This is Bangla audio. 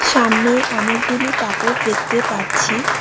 সামনে অনেকগুলি কাপড় দেখতে পারছি।